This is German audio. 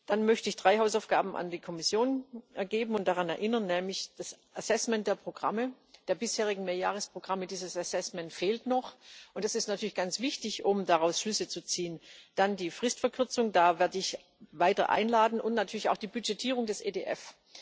Dann möchte ich drei Hausaufgaben an die Kommission geben und daran erinnern Nämlich das Assessment der bisherigen Mehrjahresprogramme dieses Assessment fehlt noch, und das ist natürlich ganz wichtig, um daraus Schlüsse zu ziehen dann die Fristverkürzung da werde ich weiter einladen und natürlich auch die Budgetierung des EDF.